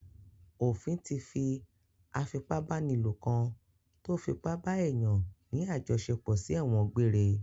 Ofin tí fi afipábánilò kan tó fi ipa bá èèyàn ní àjọṣepọ̀ sí ẹ̀wọ̀n gbeŕre